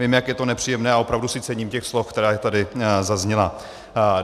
Vím, jak je to nepříjemné, a opravdu si cením těch slov, která tady zazněla.